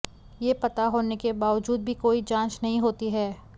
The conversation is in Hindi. ये पता होने के बावजूद भी कोई जांच नहीं होती है